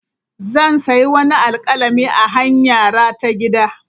Zan sayi wani alkalami a hanyara ta gida.